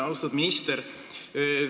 Austatud minister!